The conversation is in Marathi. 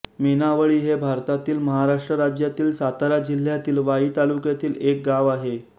मेणावळी हे भारतातील महाराष्ट्र राज्यातील सातारा जिल्ह्यातील वाई तालुक्यातील एक गाव आहे